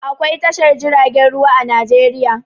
Akwai tashar jiragen ruwa a Najeriya.